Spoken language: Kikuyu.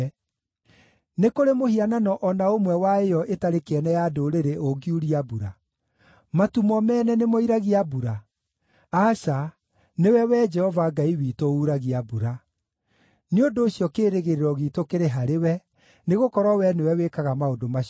Nĩ kũrĩ mũhianano o na ũmwe wa ĩyo ĩtarĩ kĩene ya ndũrĩrĩ ũngiuria mbura? Matu mo mene nĩmoiragia mbura? Aca, nĩwe, Wee Jehova Ngai witũ, uuragia mbura. Nĩ ũndũ ũcio, kĩĩrĩgĩrĩro giitũ kĩrĩ harĩwe, nĩgũkorwo wee nĩwe wĩkaga maũndũ macio mothe.